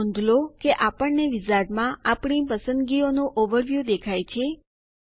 હવે નોંધ લો કે આપણને વિઝાર્ડમાં અમારી પસંદગીઓ નું ઓવરવ્યૂ દેખાય છે